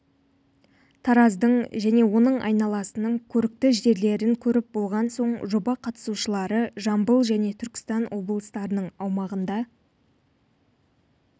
тараздың және оның айналасының көрікті жерлерін көріп болған соң жоба қатысушылары жамбыл және түркістан облыстарының аумағында